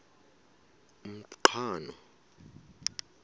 umqhano